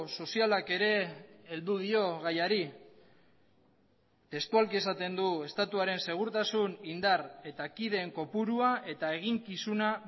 sozialak ere heldu dio gaiari testualki esaten du estatuaren segurtasun indar eta kideen kopurua eta eginkizuna